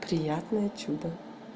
приятное чудо